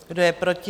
Kdo je proti?